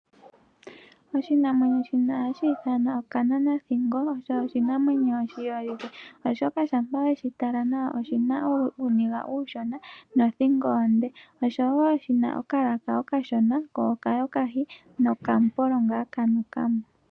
Oshinamwenyo ha shi ithanwa okananathingo, oshinamwenyo shiholike, oshoka shampa we shi tala nawa oshi na uuniga uushona, nothingo onde, oshi na okalaka okashona ko okayokahi nokamupolo kanuka mo.